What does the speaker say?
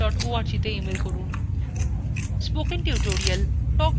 spoken tutorial spoken tutorial talk to a teacher প্রকল্পের অংশবিশেষ